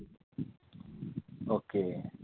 okay